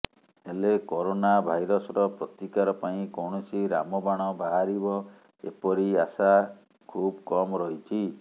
ହେଲେ କରୋନା ଭାଇରସର ପ୍ରତିକାର ପାଇଁ କୌଣସି ରାମବାଣ ବାହାରିବ ଏପରି ଆଶା ଖୁବ୍ କମ୍ ରହିଛି